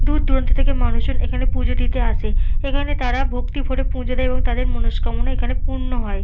দূর দূরান্ত থেকে মানুষেরা এখানে পূজো দিতে আসে। এখানে তারা ভক্তি ভরে পূজো দেয় এবং তাদের মনঃস্কামনা এখানে পূর্ণ হয়।